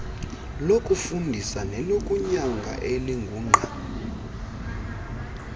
lokufundisa nelokunyanga elingungqa